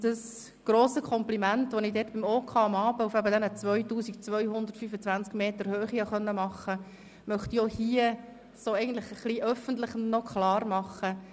Das grosse Kompliment, das ich dort dem OK auf 2225 Metern Höhe aussprechen konnte, möchte ich hier nochmals öffentlich wiederholen.